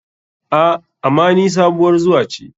A,ama ni sabuwar zuwa ce.